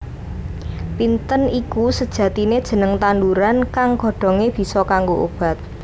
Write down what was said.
Pinten iku sejatine jeneng tanduran kang godhonge bisa kanggo obat